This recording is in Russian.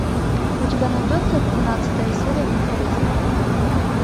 у тебя найдется двенадцатая серия менталист